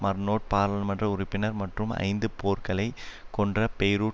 மர்னோட் பாராளுமன்ற உறுப்பினர் மற்றும் ஐந்து போர்களைக் கொன்ற பெய்ரூட்